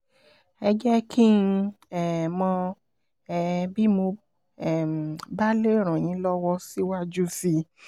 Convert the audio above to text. ẹ jẹ́ kí n um mọ̀ um bí mo um bá lè ràn yín lọ́wọ́ síwájú sí i